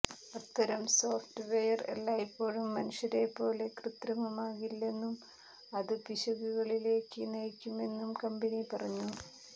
അത്തരം software എല്ലായ്പ്പോഴും മനുഷ്യരെപ്പോലെ കൃത്യമാകില്ലെന്നും അത് പിശകുകളിലേക്ക് നയിക്കുമെന്നും കമ്പനി പറഞ്ഞു